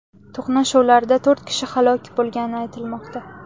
To‘qnashuvlarda to‘rt kishi halok bo‘lgani aytilmoqda .